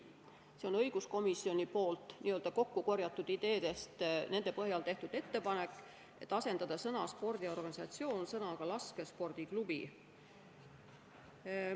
See on õiguskomisjoni kokkukorjatud ideede põhjal tehtud ettepanek, mille järgi tuleks asendada sõna "spordiorganisatsioon" sõnaga "laskespordiklubi".